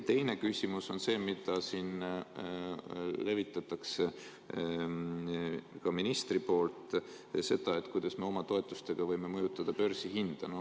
Teine küsimus on selle kohta, mida siin levitab ka minister, kuidas me oma toetustega võime mõjutada börsihinda.